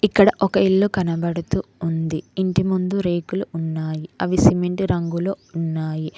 ఇక్కడ ఒక ఇల్లు కనబడుతూ ఉంది ఇంటి ముందు రేకులు ఉన్నాయి అవి సిమెంట్ రంగులో ఉన్నాయి.